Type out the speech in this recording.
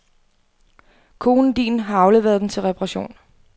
Konen din har afleveret den til reparation.